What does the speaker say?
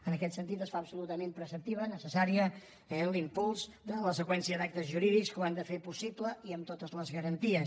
en aquest sentit es fa absolutament preceptiu necessari l’impuls de la seqüència d’actes jurídics que ho han de fer possible i amb totes les garanties